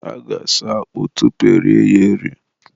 a ga-asụ akpụ tupu erie ya eri.